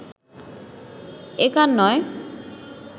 একার নয়